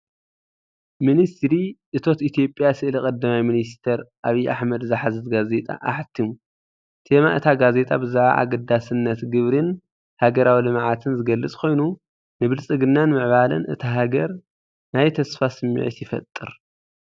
ሚኒስትሪ እቶት ኢትዮጵያ፡ ስእሊ ቀዳማይ ሚኒስተር ኣብይ ኣሕመድ ዝሓዘት ጋዜጣ ኣሕቲሙ። ቴማ እታ ጋዜጣ ብዛዕባ ኣገዳስነት ግብሪን ሃገራዊ ልምዓትን ዝገልጽ ኮይኑ፡ንብልጽግናን ምዕባለን እታ ሃገር ናይ ተስፋ ስምዒት ይፈጥር።